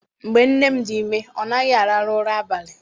Mgbe nne m dị ime, ọ naghị arahụ ụra abalị.